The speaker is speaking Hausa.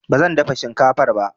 Ba zan dafa shinkafar ba.